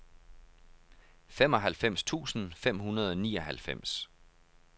femoghalvfems tusind fem hundrede og nioghalvfems